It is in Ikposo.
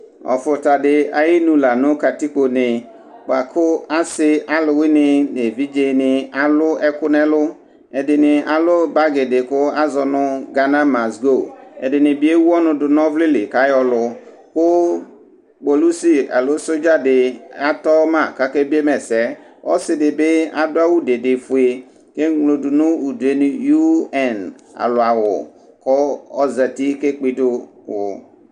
ɔfuta di ayi nu la nu katikpo ne bʋa ku asi ɔluwʋini nu evidze ni alu ɛku nu ɛlu, ɛdini alu bagui di ku azɔ nu gana mazdo, ɛdini bi ewu ɔnu du nu ɔvlɛ li ku ayɔ ku, ku kpolusi alo sɔdza di atɔ ma ku ake biema ɛsɛ, ku ɔsi di bi adu awu dede fue ku emlo tu nu udue nu tu ind alɔ awu ku ozati ku ekpe idu du wu